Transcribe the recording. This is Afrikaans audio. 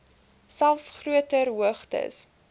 selfs groter hoogtes